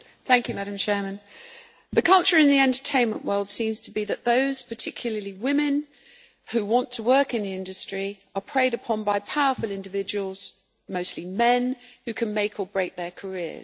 Madam Chairman, the culture in the entertainment world seems to be that those particularly women who want to work in the industry, are preyed upon by powerful individuals, mostly men, who can make or break their careers.